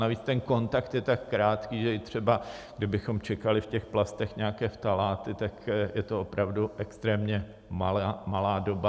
Navíc ten kontakt je tak krátký, že i třeba kdybychom čekali v těch plastech nějaké ftaláty, tak je to opravdu extrémně malá doba.